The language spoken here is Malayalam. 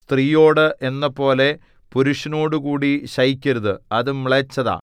സ്ത്രീയോട് എന്നപോലെ പുരുഷനോടുകൂടി ശയിക്കരുത് അത് മ്ലേച്ഛത